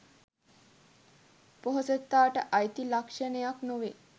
පොහොසතාට අයිති ලක්ෂණයක් නොවේ